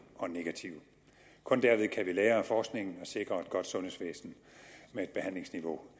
og negative kun derved kan vi lære af forskningen og sikre et godt sundhedsvæsen med et behandlingsniveau